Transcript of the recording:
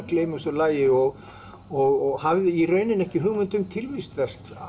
gleyma þessu lagi og og hafði í rauninni ekki hugmynd um tilvist þess